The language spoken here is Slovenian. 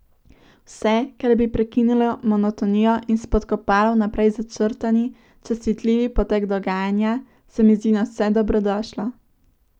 Vse, kar bi prekinilo monotonijo in spodkopalo vnaprej začrtani, častitljivi potek dogajanja, se mi zdi nadvse dobrodošlo.